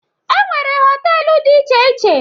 E nwere họtelu dị iche iche.